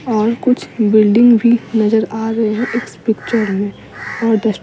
और कुछ बिल्डिंग भी नजर आ रही है इस पिक्चर में और --